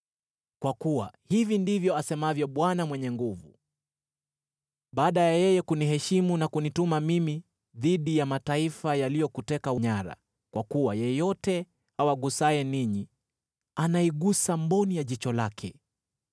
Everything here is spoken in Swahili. Kwa kuwa hivi ndivyo asemavyo Bwana Mwenye Nguvu Zote: “Baada ya yeye kuniheshimu na kunituma mimi dhidi ya mataifa yaliyokuteka nyara, kwa kuwa yeyote awagusaye ninyi, anaigusa mboni ya jicho lake,